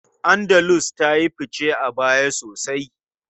Andalus ta yi fice a baya sosai.